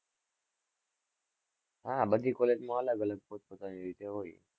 હા, બધી college માં અલગ-અલગ પોત-પોતાની રીતે હોય.